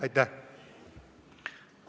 Aitäh!